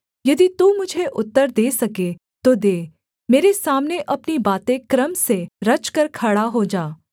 यदि तू मुझे उत्तर दे सके तो दे मेरे सामने अपनी बातें क्रम से रचकर खड़ा हो जा